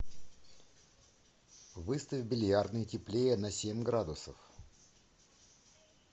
выставь в бильярдной теплее на семь градусов